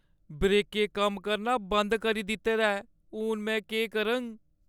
ब्रेकें कम्म करना बंद करी दित्ते दा ऐ। हून, में केह् करङ?